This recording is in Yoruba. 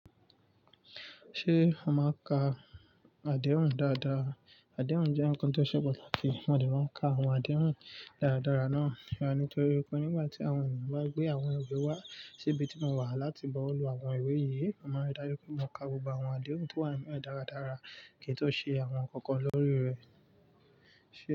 Ṣé a máa ka adéhùn dáadáa? Adéhùn jẹ́ ohun kan tó se pàtàkì à de màà nkan àwọn adéhùn dáradára náà. Fun rami nítorí pé nígbà tí àwọn ènìyàn bá gbé àwọn ìwé wá síbi tí mo wà láti bu owo lu àwọn ìwé yìí, a máa rí dájú pé mo ka gbogbo àwọn adéhùn tó wà nínú ẹ̀ dáradára kí n tó ṣe àwọn ǹkan kan lórí rẹ̀.